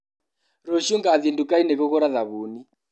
Rũciũ ngathie ndukainĩ kũgũra thabuni.